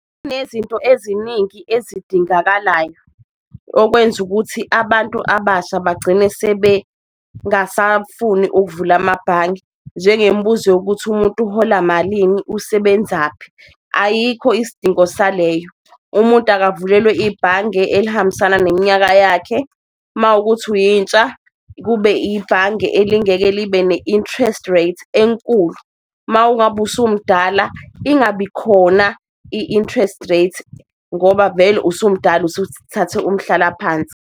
Kunezinto eziningi ezidingakalayo okwenza ukuthi abantu abasha bagcine sebe ngasafuni ukuvula amabhange, njengembuzo yokuthi umuntu uhola malini usebenzaphi, ayikho isidingo saleyo. Umuntu akavulelwe ibhange elihambisana neminyaka yakhe mawukuthi uyintsha, kube ibhange elingeke libe ne-interest rate enkulu, mawungabe usumdala ingabikhona i-interest rate ngoba vele usumdala usuthathe umhlalaphansi.